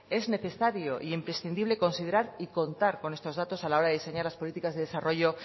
es necesario e imprescindible considerar y contar con estos datos a la hora de diseñar las políticas de desarrollo